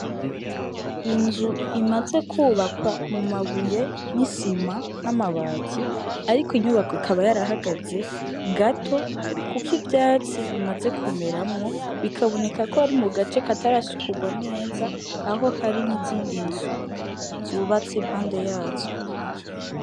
Inzu imaze kwubakwa mu mabuye n'isima n'amabati ariko ntiyubakwe ikaba yarahagaze gato kuko ivyatsi bimaze kumeramwo, bikaboneka ko ari mu gace katarasukurwa neza, aho hari n'izindi nzu zubatse impande yazo.